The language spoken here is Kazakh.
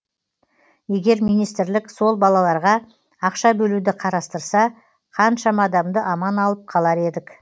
егер министрлік сол балаларға ақша бөлуді қарастырса қаншама адамды аман алып қалар едік